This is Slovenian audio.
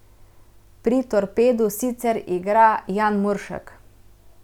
Pri Torpedu sicer igra Jan Muršak.